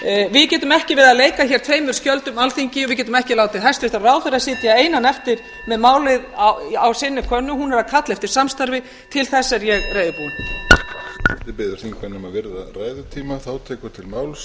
við getum ekki verið að leika hér tveimur skjöldum alþingi við getum ekki látið hæstvirtur ráðherra sitja einan eftir með málið á sinni könnu hún er að kalla eftir samstarfi til þess er ég reiðubúin forseti biður þingmenn um að virða ræðutímann